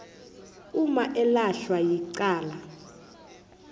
uma elahlwa yicala